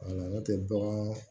Wala ne tɛ bagan